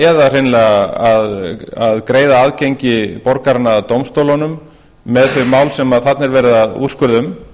eða hreinlega að greiða aðgengi borgaranna að dómstólunum með þau mál sem þarna er verið að úrskurða um